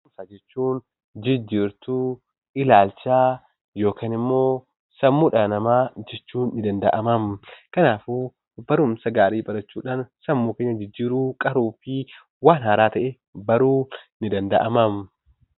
Barumsa jechuun jijjiirtuu ilaalchaa yookaan ammoo sammuu dhala namaa jechuun ni danda'ama. Kanaafuu barumsa gaarii barachuudhaan, sammuu keenya jijjiiruu, qaruu fi waan haaraa ta'e baruun ni danda'ama.